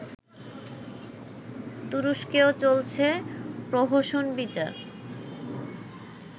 তুরস্কেও চলছে প্রহসন-বিচার